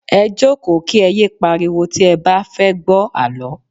Ẹ jókòó kí ẹ yé pariwo tí ẹ bá fẹ́ gbọ́ àlọ́